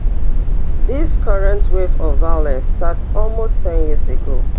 dis current wave of violence start almost ten years ago